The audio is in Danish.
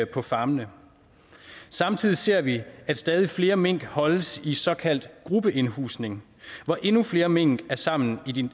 på farmene samtidig ser vi at stadig flere mink holdes i såkaldt gruppeindhusning hvor endnu flere mink er sammen